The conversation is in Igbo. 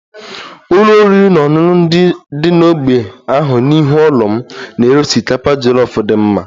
Ụlọ oriri na ọṅụṅụ dị n'ógbè ahụ n'ihu ụlọ m na-ere osikapa jollof dị mma